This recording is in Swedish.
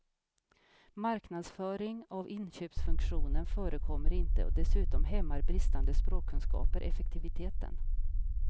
Marknadsföring av inköpsfunktionen förekommer inte och dessutom hämmar bristande språkkunskaper effektiviteten.